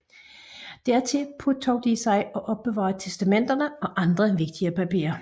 Dertil påtog de sig at opbevare testamenter og andre vigtige papirer